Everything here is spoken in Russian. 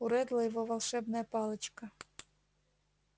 у реддла его волшебная палочка